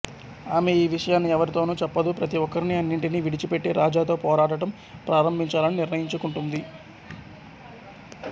ఆమె ఈ విషయాన్ని ఎవరితోనూ చెప్పదు ప్రతి ఒక్కరినీ అన్నింటినీ విడిచిపెట్టి రాజాతో పోరాడటం ప్రారంభించాలని నిర్ణయించుకుంటుంది